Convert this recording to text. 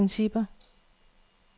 principper